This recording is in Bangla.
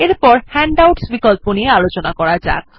এরপর হ্যান্ডআউটস বিকল্প নিয়ে আলোচনা করা যাক